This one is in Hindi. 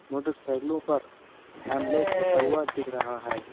मोटरसाइकलों पर हैमलेट रखा हुआ दिख रहा है।